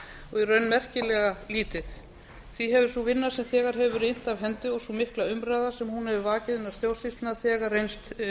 raun merkilega lítið því hefur sú vinna sem þegar hefur verið innt af hendi og sú mikla umræða sem hún hefur vakið innan stjórnsýslunnar þegar reynst